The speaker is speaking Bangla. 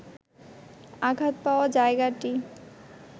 আঘাত পাওয়া জায়গাটি